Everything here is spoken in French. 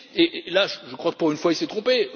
Et là je crois que, pour une fois, il s'est trompé.